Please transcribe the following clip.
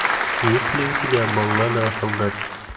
есть ли у тебя баллада о солдате